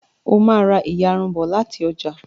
o má rá iyarun bó láti ọjà